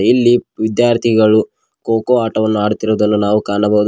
ಇಲ್ಲಿ ವಿದ್ಯಾರ್ಥಿಗಳು ಕೋಕೋ ಆಟವನ್ನು ಆಡುತ್ತಿರುವುದನ್ನು ನಾವು ಕಾಣಬಹುದು.